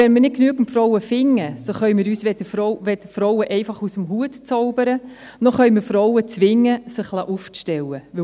Wenn wir nicht genügend Frauen finden, dann können wir uns weder Frauen aus dem Hut zaubern, noch können wir Frauen zwingen, sich aufstellen zu lassen.